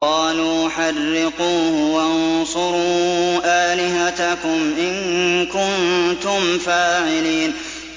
قَالُوا حَرِّقُوهُ وَانصُرُوا آلِهَتَكُمْ إِن كُنتُمْ فَاعِلِينَ